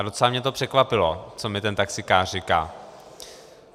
A docela mě to překvapilo, co mi ten taxíkář říká.